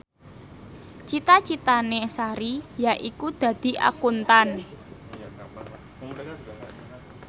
cita citane Sari yaiku dadi Akuntan